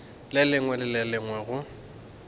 lengwe le le lengwe go